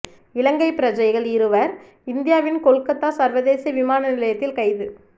இலங்கை பிரஜைகள் இருவர் இந்தியாவின் கொல்கத்தா சர்வதேச விமான நிலையத்தில் கைது